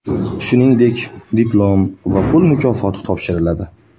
Shuningdek, diplom va pul mukofoti topshiriladi.